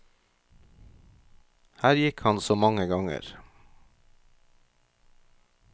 Her gikk han så mange ganger.